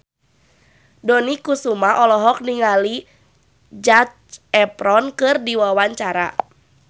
Dony Kesuma olohok ningali Zac Efron keur diwawancara